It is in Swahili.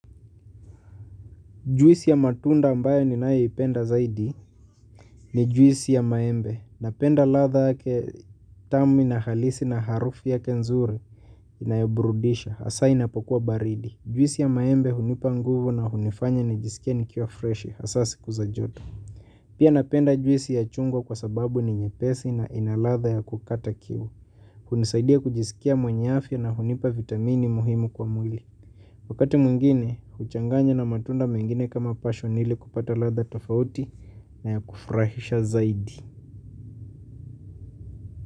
Juisi ya matunda ambayo ni nae ipenda zaidi ni juisi ya maembe. Napenda ladha yake tamu ina halisi na harufu yake nzuri inayoburudisha. Asa inapokuwa baridi. Juisi ya maembe hunipa nguvu na hunifanya nijisikie nikiwa freshi. Asa siku za joto. Pia napenda juisi ya chungwa kwa sababu ni nyepesi na ina ladha ya kukata kiu. Hunisaidia kujisikia mwenye afya na hunipa vitamini muhimu kwa mwili. Wakati mwingine, huchanganya na matunda mengine kama passion li kupata ladha tafauti na ya kufurahisha zaidi.